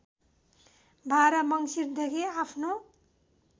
१२ मङ्सिरदेखि आफ्नो